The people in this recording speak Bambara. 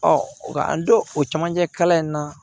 nka an don o camancɛ kalan in na